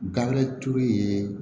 Gafe ye